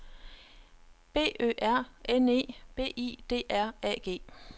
B Ø R N E B I D R A G